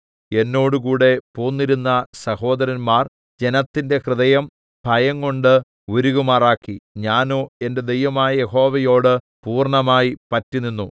എന്നോടുകൂടെ പോന്നിരുന്ന സഹോദരന്മാർ ജനത്തിന്റെ ഹൃദയം ഭയം കൊണ്ട് ഉരുകുമാറാക്കി ഞാനോ എന്റെ ദൈവമായ യഹോവയോട് പൂർണ്ണമായി പറ്റിനിന്നു